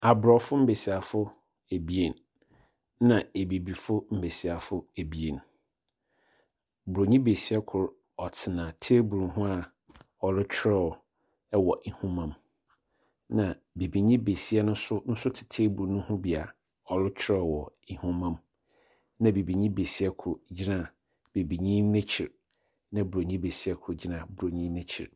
Aborɔfo mbesiafo ebien, ɛnna abibifoɔ mbesiafo ebien. Buronyi besia kor ɔtsena table ho a ɔrokyerɛw wɔ nhoma mu, ɛnna bibini besia no nso nso te table no ho bi a ɔrekyerɛw wɔ nhoma mu, ɛnna bibini besia kor gyina bibini no ekyir, ɛnna buroni besia kor gyina buronyi no ekyir.